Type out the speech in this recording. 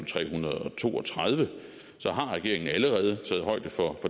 tre hundrede og to og tredive har regeringen allerede taget højde for